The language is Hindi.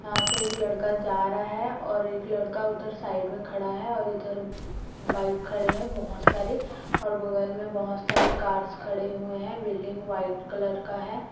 यहाँ से एक लड़का जा रहा है और एक लड़का उधर साईड में खड़ा है और इधर बाईक खड़े है बोहोत सारे और बगल में बहोत सारे कार्स खड़े हुए हैबिल्डींग व्हाईट कलर का है।